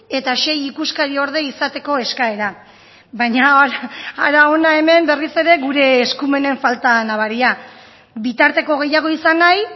eta sei ikuskariorde izateko eskaera baina hara hona hemen berriz ere gure eskumenen falta nabaria bitarteko gehiago izan nahi